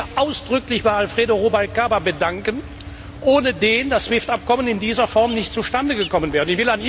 Ich will mich hier ausdrücklich bei Alfredo Rubalcaba bedanken, ohne den das SWIFT Abkommen in dieser Form nicht zustande gekommen wäre.